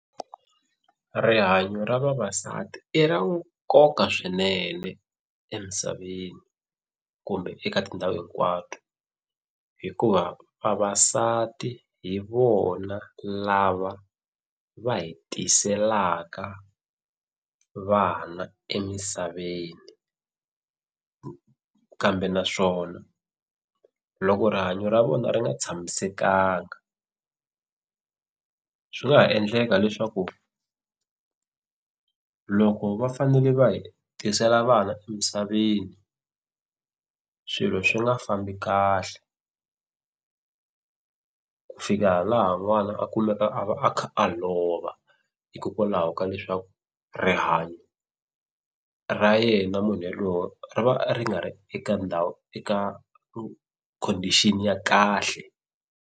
Rihanyo ra vavasati i ra nkoka swinene emisaveni kumbe eka tindhawu hinkwato hikuva vavasati hi vona lava va hi tiselaka vana emisaveni kambe naswona loko rihanyo ra vona ri nga tshamisekanga swi nga ha endleka leswaku loko va fanele va hi tisela vana emisaveni swilo swi nga fambi kahle ku fika laha n'wana a kulaka a va a kha a lova hikokwalaho ka leswaku rihanyo ra yena munhu yaloye ri va ri nga ri eka ndhawu eka condition ya kahle.